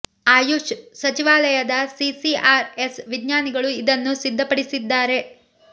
ಆಯುಶ್ ಸಚಿವಾಲಯದ C C R S ವಿಜ್ಞಾನಿಗಳು ಇದನ್ನು ಸಿದ್ಧಪಡಿಸಿದ್ದಾರೆ